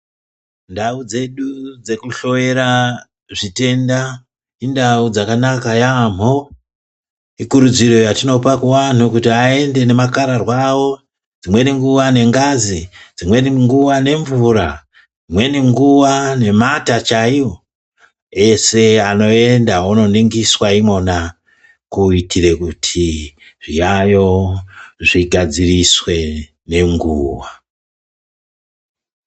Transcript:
Ndau dzedu dzekuhloyera zvitenda, indau dzakanaka yamo. Ikurudziro yatinopa kuvanhu kuti vayende nemakararwa avo, dzimweni nguva nengazi, dzimweni nguva nemvura, dzimweni nguva nemate chayiwo, ese anoyenda ononingiswa imona , kuyitire kuti zviyayo zvigadziriswe nenguwa.